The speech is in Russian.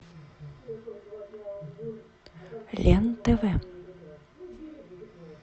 лен тв